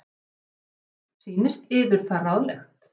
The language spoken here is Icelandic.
LÁRUS: Sýnist yður það ráðlegt?